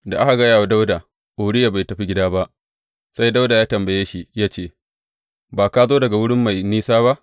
Da aka gaya wa Dawuda, Uriya bai tafi gida ba, sai Dawuda ya tambaye shi ya ce, Ba ka zo daga wuri mai nisa ba?